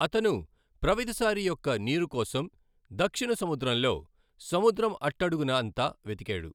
అతను ప్రవితసారి యొక్క నీరు కోసం దక్షిణ సముద్రంలో సముద్రం అట్టఅడుగున అంతా వెతికాడు.